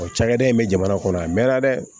cakɛda in bɛ jamana kɔnɔ a mɛn na dɛ